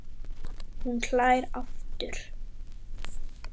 Hún hlær aftur.